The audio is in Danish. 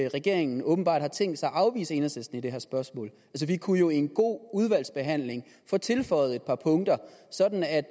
regeringen åbenbart har tænkt sig at afvise enhedslisten i det her spørgsmål vi kunne jo i en god udvalgsbehandling få tilføjet et par punkter sådan at